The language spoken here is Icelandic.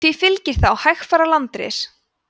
því fylgir þá hægfara landris